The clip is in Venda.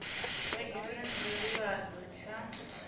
vhege nna tsha nḓivhadzo tsha